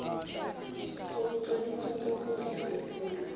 sokutloliswa kokudla kwefuyo